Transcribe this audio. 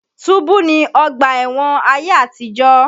Túbú ni ọgbà ẹ̀wọ̀n ayé àtìjọ̀.